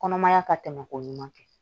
Kɔnɔmaya ka tɛmɛ ko ɲuman kɛ